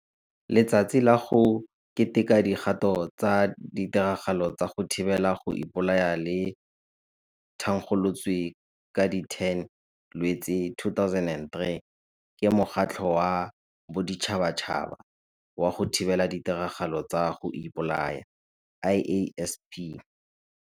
Letsatsi la go Keteka Dikgato tsa ditiragalo tsa go Thibela go Ipolaya le thankgolotswe ka di 10 Lwetse 2003 ke Mokgatlho wa Boditšhabatšhaba wa go Thibela Ditiragalo tsa go Ipolaya IASP.